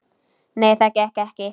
Nei, það gekk ekki.